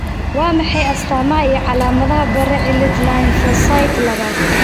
Waa maxay astamaha iyo calaamadaha Bare cilad lymphocyte labaad?